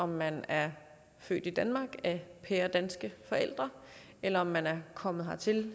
om man er født i danmark af pæredanske forældre eller om man er kommet hertil